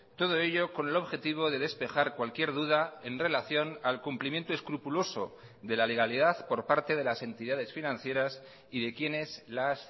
todo ello con el objetivo de despejar cualquier duda en relación al cumplimiento escrupuloso de la legalidad por parte de las entidades financieras y de quienes las